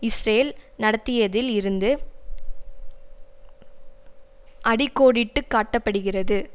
Israel நடத்தியதில் இருந்து அடி கோடிட்டு காட்ட படுகிறது